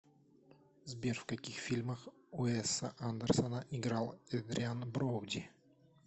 сбер в каких фильмах уэса андерсона играл эдриан броуди